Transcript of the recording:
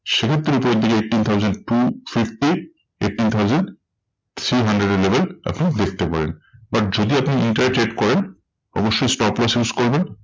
সেক্ষেত্রে উপরের দিকে eighteen thousand two fifty eighteen thousand three hundred এর level আপনি দেখতে পারেন। but যদি আপনি intraday trade করেন অবশ্যই stop loss use করবেন।